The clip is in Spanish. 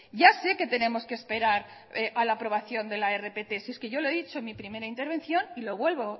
ya sé que tenemos que esperar a la aprobación de la rpt si es que yo lo he dicho en mi primera intervención y lo vuelvo